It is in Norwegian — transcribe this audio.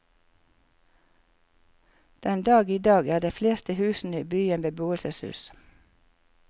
Den dag i dag er de fleste husene i byen beboelseshus.